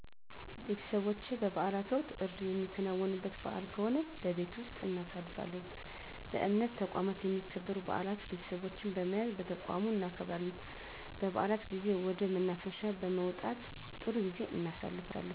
ቤተሰቦቸ በበዓላት ወቅት እርድ የሚከናወንበት በዓል ከሆነ በቤት ወስጥ እናሳልፋለን በእምነት ተቋማት የሚከበሩ በዓላት ቤተሰቦቸን በመያዝ በተቋሙ እናከብራለን በዓላት ጊዜ ወደ መናፈሻ በመውጣት ጥሩ ጊዜ እናሣልፋለን